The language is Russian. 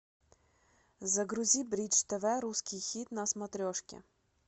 загрузи бридж тв русский хит на смотрешке